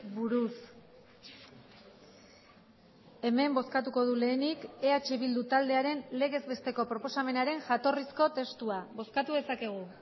buruz hemen bozkatuko du lehenik eh bildu taldearen legez besteko proposamenaren jatorrizko testua bozkatu dezakegu